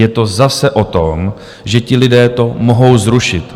Je to zase o tom, že ti lidé to mohou zrušit.